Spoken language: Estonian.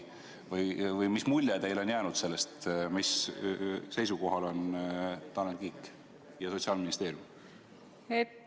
Või mis mulje teile on jäänud sellest, mis seisukohal on Tanel Kiik ja Sotsiaalministeerium?